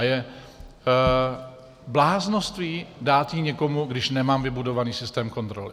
A je bláznovství dát ji někomu, když nemám vybudovaný systém kontroly.